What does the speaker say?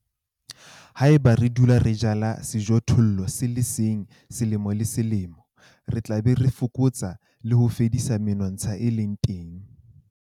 Haeba re dula re jala sejothollo se le seng selemo le selemo, re tla be re fokotsa le ho fedisa menontsha e leng teng.